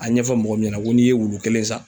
A ɲɛfɔ mɔgɔ min ɲɛna ko n'i ye wulu kelen san